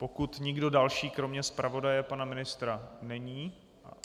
Pokud nikdo další kromě zpravodaje pana ministra není...